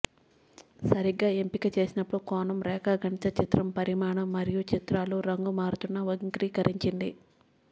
సరిగా ఎంపిక చేసినప్పుడు కోణం రేఖాగణిత చిత్రం పరిమాణం మరియు చిత్రాలు రంగు మారుతున్న వక్రీకరించింది